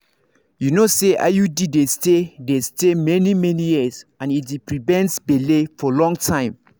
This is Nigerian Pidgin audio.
you know say iud dey stay dey stay many-many years and e dey prevent belle for long time.